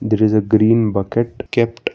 There is a green bucket kept --